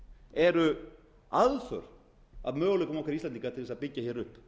eru aðför að möguleikum okkar íslendinga til að byggja upp